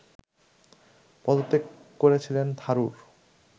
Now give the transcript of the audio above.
পদত্যাগ করেছিলেন থারুর